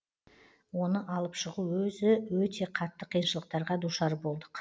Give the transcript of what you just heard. оны алып шығу өзі өте қатты қиыншылықтарға душар болдық